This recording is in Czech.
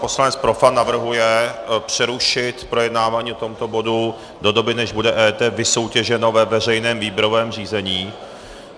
Poslanec Profant navrhuje přerušit projednávání tohoto bodu do doby, než bude EET vysoutěženo ve veřejném výběrovém řízení.